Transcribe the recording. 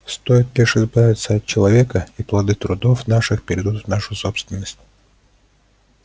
стоит лишь избавиться от человека и плоды трудов наших перейдут в нашу собственность